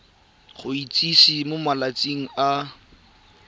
go itsise mo malatsing a